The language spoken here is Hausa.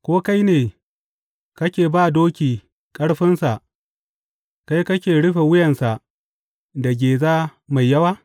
Ko kai ne kake ba doki ƙarfinsa kai kake rufe wuyansa da geza mai yawa?